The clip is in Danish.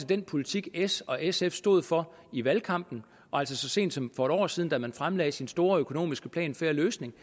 den politik s og sf stod for i valgkampen og altså så sent som for et år siden da man fremlagde sin store økonomiske plan fair løsning